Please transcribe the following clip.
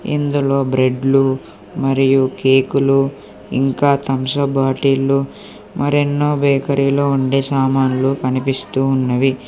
ఇందులో బ్రెడ్లు మరియు కేకులు ఇంకా థంసప్ బాటిల్లు లో మరెన్నో బేకరీలో ఉండే సామాన్లు కనిపిస్తూ ఉన్నవి.